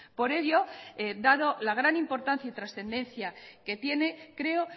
por ello dado la gran importancia y trascendencia que tiene creo